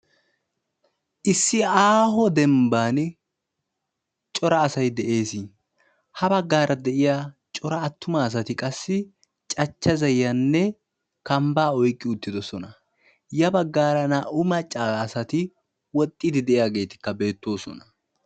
Issi aaho demmbban cora asay dees. Ha baggaara de'iyaa cora attuma asati qassi cachcha za'iyanna kambbaa oyqqi uttiddossona. Ya baggaara naa"u macca asati woxxiidi diyageetikka beettoosona.